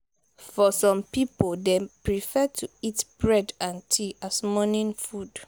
for some pipo dem prefer to eat bread and tea as morning food